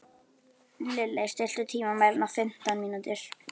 Lilley, stilltu tímamælinn á fimmtán mínútur.